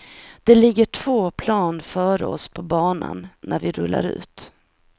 Det ligger två plan före oss på banan när vi rullar ut.